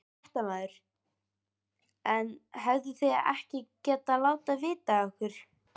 Fréttamaður: En hefðuð þið ekki getað látið vita af ykkur?